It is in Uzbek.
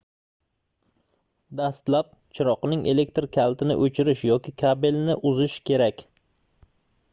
dastlab chiroqning elektr kalitini oʻchirish yoki kabelni uzish kerak